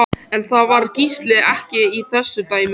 En það var Gísli ekki í þessu dæmi.